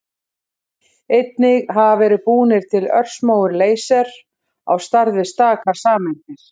Einnig hafa verið búnir til örsmáir leysar, á stærð við stakar sameindir.